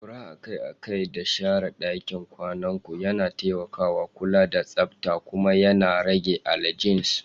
Yin ƙura a kai a kai da share ɗakin kwanan ku yana taimakawa kula da tsabta kuma yana rage allergens.